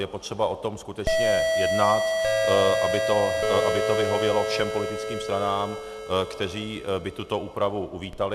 Je potřeba o tom skutečně jednat, aby to vyhovělo všem politickým stranám, které by tuto úpravy uvítaly.